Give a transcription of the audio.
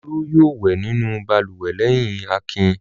Olú yóò wẹ̀ nínú balùwẹ̀ lẹ́yìn Akin.